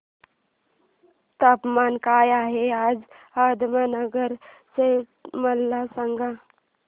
तापमान काय आहे आज अहमदनगर चे मला सांगा